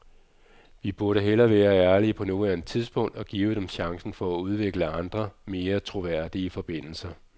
Vi burde hellere være ærlige på nuværende tidspunkt og give dem chancen for at udvikle andre, mere troværdige forbindelser.